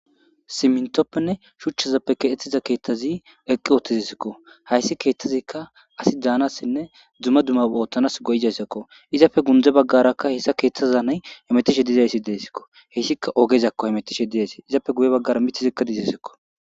simintoppenne shuchchazappe keexethiza keeththazi eqqi ootizsikko hayssi keeththazikka asi daanassinne dzuma duma ooththanas goyizaysakko izapfe gundze baggarakka hessa keeththaza nay emetishe dizayssi deesikko heyssikka ogezakko hemetishe diasi izappe guye baggara mithizikka dizasikko